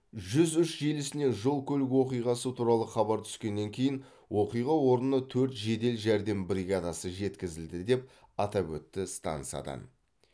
жүз үш желісіне жол көлік оқиғасы туралы хабар түскеннен кейін оқиға орнына төрт жедел жәрдем бригадасы жеткізілді деп атап өтті стансадан